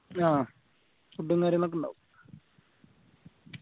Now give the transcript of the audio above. ആഹ് food ഉം കാര്യങ്ങളൊക്കെ ഇണ്ടാവും